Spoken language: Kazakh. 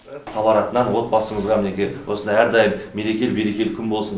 хабар атынан отбасыңызға мінекей осындай әрдайым мерекелі берекелі күн болсын